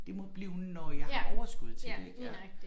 Det må blive når jeg har overskud til det ik ja